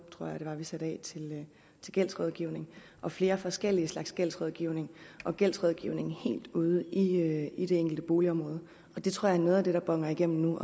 tror jeg det var vi satte af til gældsrådgivning og flere forskellige slags gældsrådgivning og gældsrådgivning helt ude i i de enkelte boligområder det tror jeg er noget af det der boner igennem